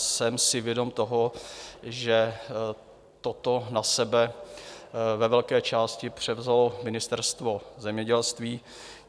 Jsem si vědom toho, že toto na sebe ve velké části převzalo Ministerstvo zemědělství.